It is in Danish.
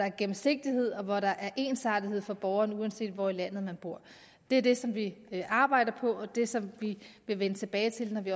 en gennemsigtighed og hvor der er ensartethed for borgeren uanset hvor i landet man bor det er det som vi arbejder på og det som vi vil vende tilbage til når vi